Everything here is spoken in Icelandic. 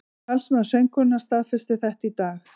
Talsmaður söngkonunnar staðfesti þetta í dag